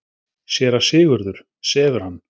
SÉRA SIGURÐUR: Sefur hann?